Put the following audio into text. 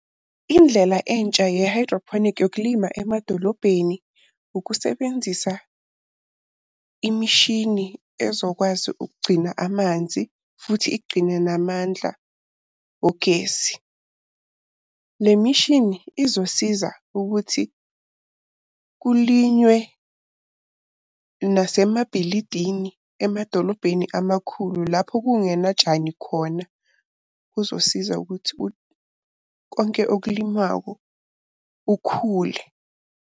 Indlela entsha ye-hydroponic yokulima emadolobheni, ukusebenzisa imishini ezokwazi ukugcina amanzi, futhi igcine namandla ogesi. Le mishini izosiza ukuthi kulinywe nasemabhilidini emadolobheni amakhulu lapho kungenatshani khona. Kuzosiza ukuthi konke okulinywako kukhule.